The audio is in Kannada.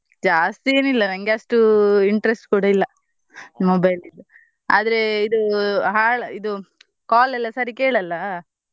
ಜಾಸ್ತಿ ಏನ್ ಇಲ್ಲಾ ನಂಗೆ ಅಷ್ಟು interest ಕೂಡಾ ಇಲ್ಲಾ mobile ದು. ಆದ್ರೆ ಇದು ಹಾಳ್ ಇದು call ಎಲ್ಲಾ ಸರಿ ಕೇಳಲ್ಲಾ.